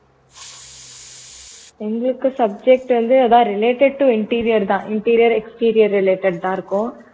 எங்களுக்கு subject வந்து அதான் related to interior தான் Interior exterior related தான் இருக்கும்